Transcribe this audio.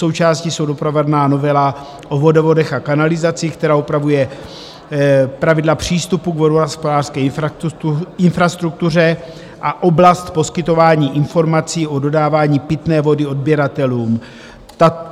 Součástí jsou doprovodná novela o vodovodech a kanalizacích, která upravuje pravidla přístupu k vodohospodářské infrastruktuře a oblast poskytování informací o dodávání pitné vody odběratelům.